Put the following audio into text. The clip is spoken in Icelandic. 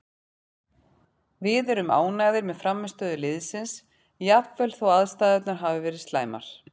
Við erum ánægðir með frammistöðu liðsins jafnvel þó aðstæðurnar hafi verið slæmar,